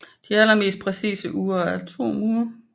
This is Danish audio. De allermest præcise ure er atomure